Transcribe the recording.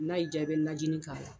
N'a diya i bɛ najini k'a la